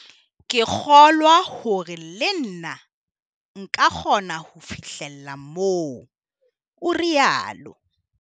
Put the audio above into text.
"Ke kgo-lwa hore le nna nka kgona ho fihlella moo," o rialo.